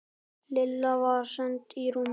Lilla var send í rúmið.